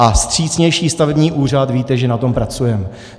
A vstřícnější stavební úřad - víte, že na tom pracujeme.